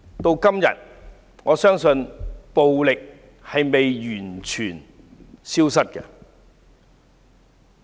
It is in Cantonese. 至今，我相信暴力並未完全消失。